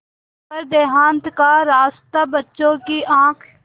पर देहात का रास्ता बच्चों की आँख